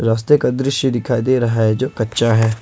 रस्ते का दृश्य दिखाई दे रहा हैं जो कच्चा है।